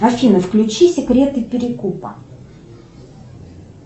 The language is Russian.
афина включи секреты перекупа